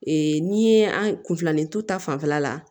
Ee n'i ye an kun filanintu ta fanfɛla la